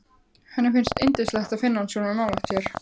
Henni finnst yndislegt að finna hann svona nálægt sér.